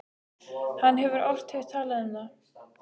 Hann hefur oft heyrt talað um það.